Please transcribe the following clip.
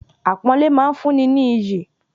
Àpọ́nlẹ́ máa ń fún ni ní iyì